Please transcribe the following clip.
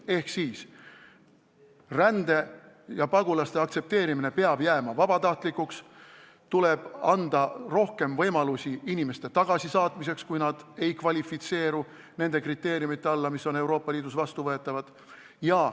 Ehk siis: rände ja pagulaste aktsepteerimine peab jääma vabatahtlikuks, tuleb anda rohkem võimalusi inimeste tagasisaatmiseks, kui nad ei kvalifitseeru nende kriteeriumide alla, mis on Euroopa Liidus vastuvõetavad.